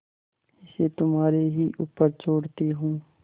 इसे तुम्हारे ही ऊपर छोड़ती हूँ